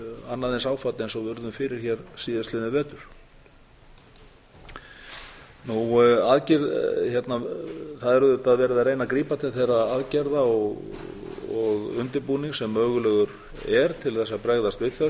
annað eins ástand og við urðum fyrir hér síðastliðinn vetur það er auðvitað verið að reyna að grípa til þeirra aðgerða og undirbúnings sem mögulegur er til að bregðast við þessu og